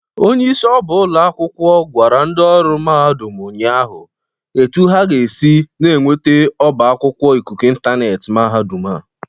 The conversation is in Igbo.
Onyeisi ọba akwụkwọ gwara ndị ọrụ mahadụm ụnyaahụ etu ha ga-esi na-enwete ọba akwụkwọ ịkụkụ ịntaneetị mahadụm a.